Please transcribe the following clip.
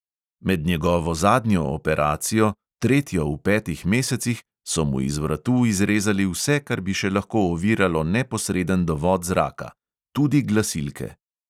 Med njegovo zadnjo operacijo, tretjo v petih mesecih, so mu iz vratu izrezali vse, kar bi še lahko oviralo neposreden dovod zraka – tudi glasilke.